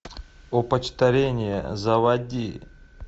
опочтарение заводи